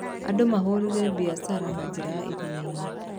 Andũ mahũrire biacara na njĩra ya iria-inĩ.